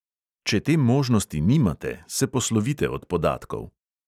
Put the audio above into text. Če te možnosti nimate, se poslovite od podatkov.